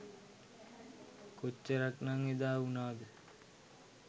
කොච්චරක් නං එදා උනාද?